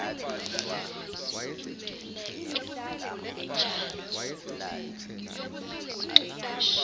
intuleka injalo nabaqashi